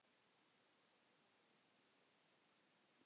Lyktar einsog hann.